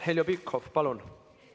Heljo Pikhof, palun!